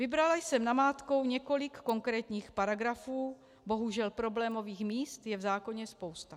Vybrala jsem namátkou několik konkrétních paragrafů, bohužel problémových míst je v zákoně spousta.